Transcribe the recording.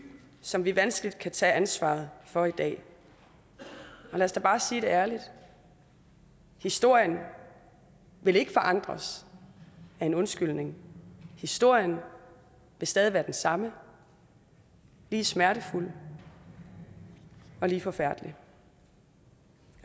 som vi vanskeligt kan tage ansvaret for i dag lad os da bare sige det ærligt historien vil ikke forandres af en undskyldning historien vil stadig være den samme og lige smertefuld og lige forfærdelig